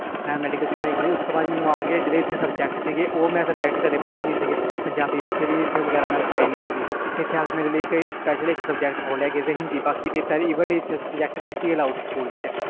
ਮੈਂ ਮੈਡੀਕਲ ਦੀ ਪਾੜੀ ਕੀਤੀ ਸੀ ਜਿਹੜੇ ਮੈਂ ਇਥੇ ਆਕੇ subject ਪੜ੍ਹੇ ਉਹ ਮੈਂ ਕਦੇ ਪੜ੍ਹੇ ਨਹੀਂ ਸੀ subject ਪੰਜਾਬੀ ਵਾਸੇ ਵੀ ਮੈਂ ਰਖਾਇ ਨਹੀਂ ਸੀ ਫਿਰ ਮੇਰੇ ਲਈ ਇਥੇ special subject ਖੋਲਿਆ ਜਿਸ ਵਿਚ ਹਿੰਦੀ ਸੀ even ਬਾਕੀ subject ਨਹੀਂ ਸੀ allowed ਸਕੂਲ ਵਿਚ